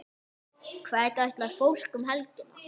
Hvert ætlar fólk um helgina?